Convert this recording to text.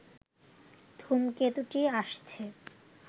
ধূমকেতুটি আসছে